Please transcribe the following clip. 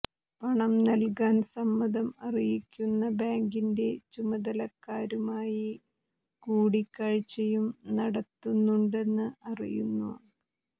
പണം നൽകാൻ സമ്മതം അറിയിക്കുന്ന ബാങ്കിന്റെ ചുമതലക്കാരുമായി കൂടിക്കാഴ്ചയും നടത്തുന്നുണ്ടെന്ന് അറിയുന്നു